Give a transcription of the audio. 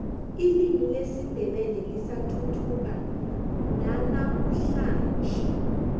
ilimi lesindebele lisathuthuka nanamuhlanje